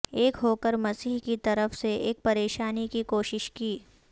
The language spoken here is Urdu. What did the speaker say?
ایک ہو کر مسیح کی طرف سے ایک پریشانی کی کوشش کی